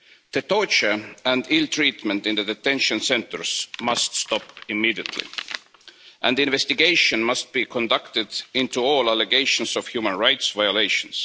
The torture and ill treatment in the detention centres must stop immediately and an investigation must be conducted into all allegations of human rights violations.